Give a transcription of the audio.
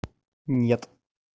нет